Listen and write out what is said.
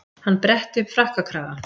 Hann bretti upp frakkakragann.